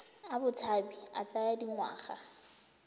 a botshabi a tsaya dingwaga